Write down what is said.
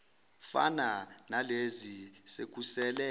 fana nalezi sekusele